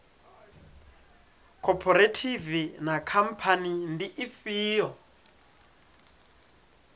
khophorethivi na khamphani ndi ifhio